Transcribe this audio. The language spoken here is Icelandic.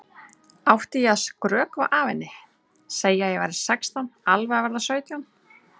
Átti ég að skrökva að henni, segja að ég væri sextán, alveg að verða sautján?